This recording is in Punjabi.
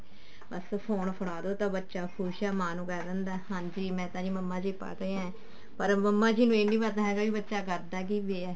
ਬੱਸ phone ਫੜਾ ਦੋ ਤਾਂ ਬੱਚਾ ਖੁਸ਼ ਹੈ ਮੈਂ ਨੂੰ ਕਹਿ ਦਿੰਦਾ ਹਾਂਜੀ ਮੈਂ ਆਂ ਮੰਮਾ ਜੀ ਪੜ੍ਹ ਰਿਹਾ ਪਰ ਮੰਮਾ ਜੀ ਇਹ ਨੀ ਪਤਾ ਵੀ ਬੱਚਾ ਕਰਦਾ ਕੀ ਪਿਆ